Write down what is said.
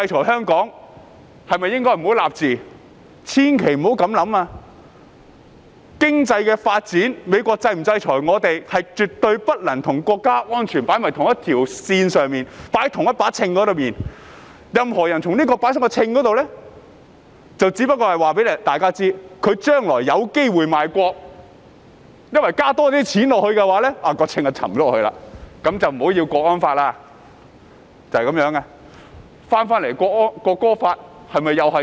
千萬不要這樣想，經濟發展或美國是否制裁香港，是絕對不能與國家安全放在同一條線上、放在同一個秤上，任何人將兩者放在秤上，就是告訴大家，他將來有機會賣國，因為只要加多些錢，秤的一邊便會沉下去，那麼便不要國安法了。